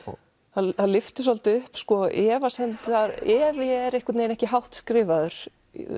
það lyftir svolítið upp efasemdirnar efi er einhvern veginn ekki hátt skrifaður